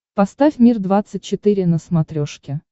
поставь мир двадцать четыре на смотрешке